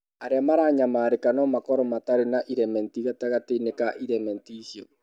Arĩa maranyamarĩka no makorũo matarĩ na irementi gatagatĩ-inĩ ka irementi icio.